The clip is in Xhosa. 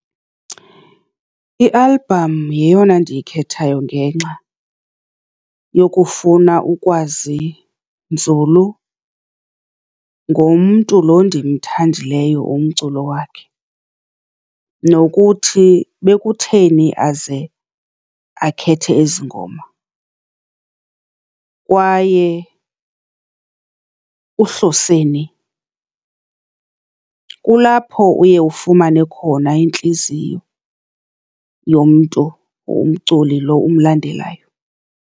I-album yeyona ndiyikhethayo ngenxa yokufuna ukwazi nzulu ngomntu loo ndimthandileyo umculo wakhe, nokuthi bekutheni aze akhethe ezi ngoma kwaye uhlose ni. Kulapho uye ufumane khona intliziyo yomntu, umculi loo umlandelayo.